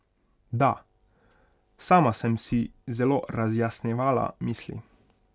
Da, sama sem si zelo razjasnjevala misli.